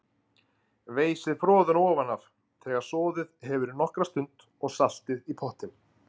Veiðið froðuna ofan af, þegar soðið hefur í nokkra stund, og saltið í pottinn.